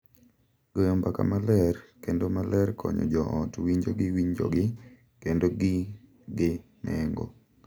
Goyo mbaka maler kendo maler konyo jo ot winjo ni winjogi kendo gin gi nengo.